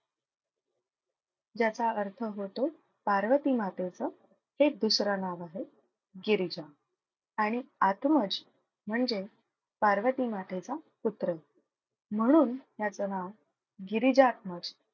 ज्याचा अर्थ होतो पार्वती मातेचं हे दुसरं नाव आहे गिरीजा आणि आत्मज म्हणजे पार्वती मातेचा पुत्र म्हणून याचं नाव गिरिजात्मज.